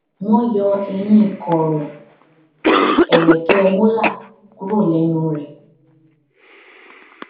wọn yọ eyín kọrọ ẹrẹkẹ molar kúrò lẹnu rẹ